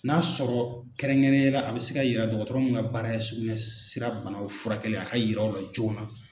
N'a sɔrɔ kɛrɛnkɛrɛnyala a bɛ se ka yira dɔgɔtɔrɔ mun ka baara ye sugunɛsira banaw furakɛli ye a ka yira o la joona.